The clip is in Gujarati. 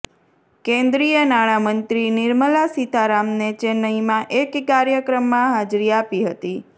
કેન્દ્રીય નાણામંત્રી નિર્મલા સીતારામને ચેન્નઈમાં એક કાર્યક્રમમાં હાજરી આપી હતી